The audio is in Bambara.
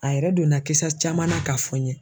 A yɛrɛ donna kisa caman na k'a fɔ n ye.